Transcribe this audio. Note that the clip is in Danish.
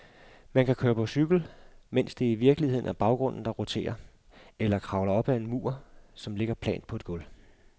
Man kan køre på cykel, mens det i virkeligheden er baggrunden, der roterer, eller kravle op ad en mur, som ligger plant på gulvet.